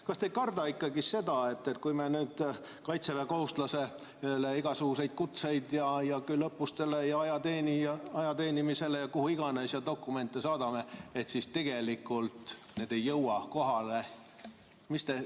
Kas te ei karda ikkagi seda, et kui me nüüd kaitseväekohuslase igasuguseid kutseid küll õppustele, küll ajateenimisele ja kuhu iganes ning muid dokumente saadame, siis tegelikult need ei jõua kohale?